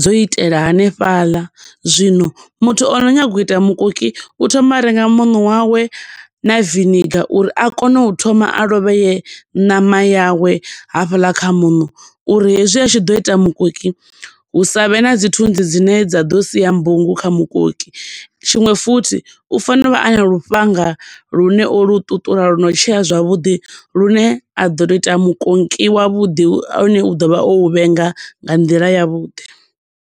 dzo itela hanefhaḽa. Zwino muthu ono nyaga u ita mukoki u thoma a renga muno wawe na vinegar uri a kone u thoma a lovheye ṋama yawe hafhaḽa kha muṋo uri hezwi a tshi ḓo ita mukoki, hu sa vhe na dzithunzi dzine dza ḓo siya mbungu kha mukoki, tshiṅwe futhi u fanela uvha ana lufhanga lune o lu ṱuṱula lwo no tsheya zwavhuḓi lune a ḓo to ita mukonki wavhuḓi une wa ḓo vha o u vhenga nga nḓila ya vhuḓi.